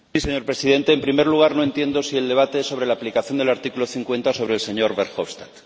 Señor Presidente, en primer lugar, no entiendo si el debate es sobre la aplicación del artículo 50 o sobre el señor Verhofstadt.